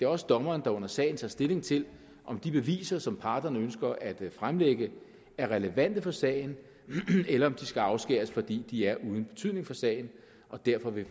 også dommeren der under sagen tager stilling til om de beviser som parterne ønsker at fremlægge er relevante for sagen eller om de skal afskæres fordi de er uden betydning for sagen og derfor vil